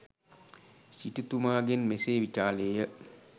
සිටුතුමාගෙන් මෙසේ විචාළේය.